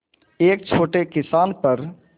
एक छोटे किसान पर